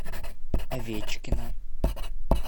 овечкина